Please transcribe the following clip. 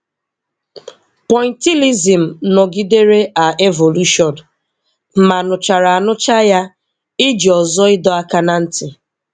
Pointillism nọgidere a evolushọn; ma, nụchara anụcha ya iji ọzọ ịdọ aka ná ntị.